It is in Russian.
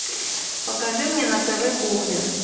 покажи мне на тв кухня